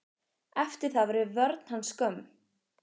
Eftir það verður vörn hans skömm.